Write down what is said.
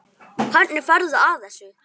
Hvernig ferðu að þessu?